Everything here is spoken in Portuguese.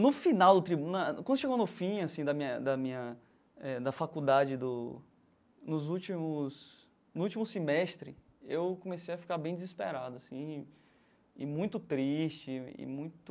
No final do tribunal, quando chegou no fim assim da minha da minha eh da faculdade do, nos últimos no último semestre, eu comecei a ficar bem desesperado assim e e muito triste e muito...